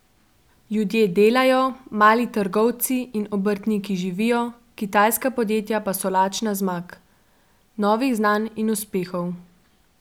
Ljudje delajo, mali trgovci in obrtniki živijo, kitajska podjetja pa so lačna zmag, novih znanj in uspehov.